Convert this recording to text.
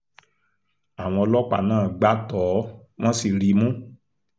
àwọn ọlọ́pàá náà gbá tọ́ ọ wọ́n sì rí i mú